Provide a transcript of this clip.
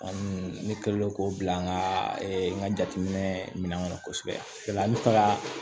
An ne kɛlen k'o bila n ka n ka jateminɛ minɛ kɔnɔ kosɛbɛ o la n bɛ taga